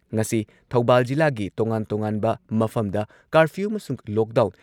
ꯉꯁꯤ ꯊꯧꯕꯥꯜ ꯖꯤꯂꯥꯒꯤ ꯇꯣꯉꯥꯟ-ꯇꯣꯉꯥꯟꯕ ꯃꯐꯝꯗ ꯀꯥꯔꯐꯤꯌꯨ ꯑꯃꯁꯨꯡ ꯂꯣꯛꯗꯥꯎꯟ